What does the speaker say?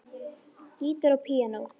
Gítar og píanó.